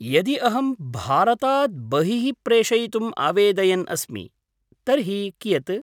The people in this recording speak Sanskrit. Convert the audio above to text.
यदि अहं भारतात् बहिः प्रेषयितुम् आवेदयन् अस्मि, तर्हि कियत्?